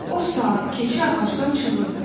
O saat keçi ağacdan çığırdı.